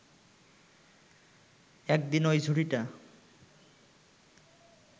একদিন ঐ ঝুঁড়িটা